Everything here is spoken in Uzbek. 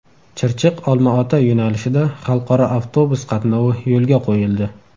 Chirchiq Olmaota yo‘nalishida xalqaro avtobus qatnovi yo‘lga qo‘yildi.